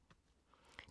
TV 2